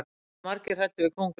það eru margir hræddir við köngulær